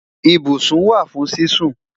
Ìbùṣún wà fún sísún